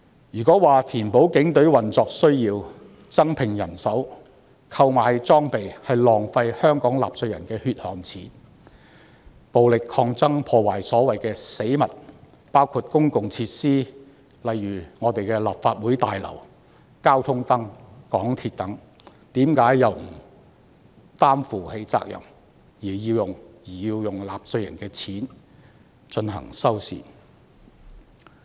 如果說警隊為填補運作需要而增聘人手及購買裝備，是浪費香港納稅人的血汗錢，那麼為何在暴力抗爭中破壞所謂的死物，包括公共設施，例如我們的立法會大樓、交通燈、港鐵等，卻不需要承擔責任，而要用納稅人的金錢進行修繕工程？